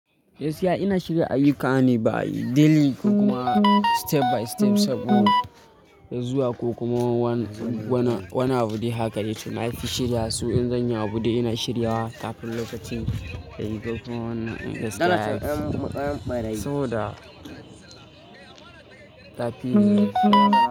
Gaskiya ina shiga ayyuka ne by daily ko kuma step by step saboda zuwa ko kuma wana woni abu dai haka dai to na fushi da su in zan yi abu dai ina shirya wa kafin lokacin ya yi ko kuma wannan gaskiya yafi. So da kafin.